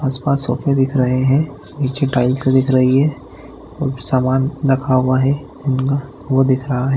आस-पास सोफे दिख रहे है नीचे टाइल्स दिख रही है और सामान रखा हुआ है उनका वो दिख रहा है।